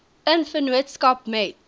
in vennootskap met